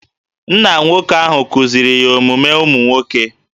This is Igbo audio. Nna nwoke ahụ kuziri ya omume ụmụ nwoke